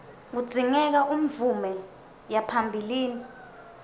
kudzingeka umvume yaphambilini